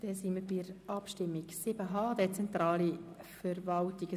Wir sind bei den Abstimmungen zum Themenblock 7.h Dezentrale Verwaltung angelangt.